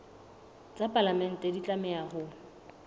tsa palamente di tlameha ho